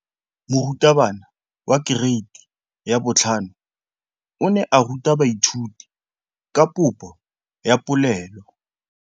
Moratabana wa kereiti ya 5 o ne a ruta baithuti ka popô ya polelô.